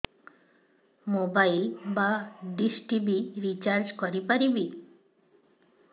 mobile ବା dish TV recharge କରି ପାରିବି